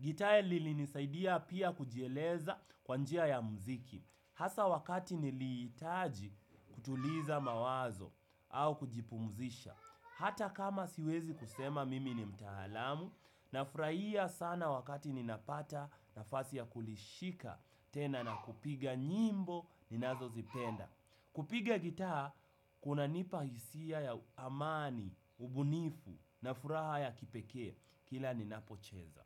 Gitaa lilinisaidia pia kujieleza kwa njia ya mziki hasa wakati niliitaji kutuliza mawazo au kujipumzisha hata kama siwezi kusema mimi ni mtaalamu nafuraia sana wakati ninapata nafasi ya kulishika tena na kupiga nyimbo ninazozipenda. Kupiga gitaa, kunanipa hisia ya amani, ubunifu, na furaha ya kipekee, kila ninapocheza.